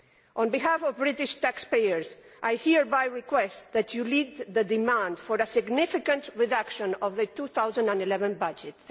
On behalf of British taxpayers, I hereby request that you lead the demand for a significant reduction of the 2011 budget.